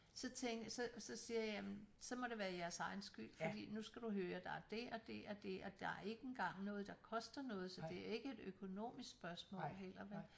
Så tænker så så siger jeg jamen så må det være jeres egen skyld fordi nu skal du høre der er det og det og det og der er ikke engang noget der koster noget så det er ikke et økonomisk spørgsmål heller vel